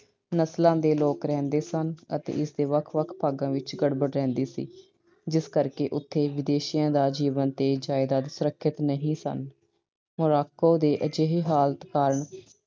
ਨਸਲਾਂ ਦੇ ਲੋਕ ਰਹਿੰਦੇ ਸਨ ਅਤੇ ਇਸ ਦੇ ਵੱਖ-ਵੱਖ ਭਾਗਾਂ ਵਿੱਚ ਗੜਬੜ ਰਹਿੰਦੀ ਸੀ ਜਿਸ ਕਰਕੇ ਉਥੇ ਵਿਦੇਸ਼ੀਆਂ ਦਾ ਜੀਵਨ ਤੇ ਜਾਇਦਾਦ ਸੁਰੱਖਿਅਤ ਨਹੀਂ ਸਨ। Morocco ਦੇ ਅਜਿਹੇ ਹਾਲਤ ਕਾਰਨ